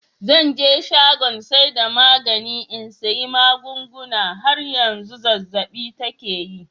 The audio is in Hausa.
“Zan je shagon saida magani in sayi magunguna. har yanzu zazzab'i take yi.